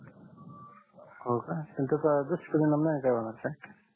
हो का पण त्याच्या अदृश परिणाम नाही का होते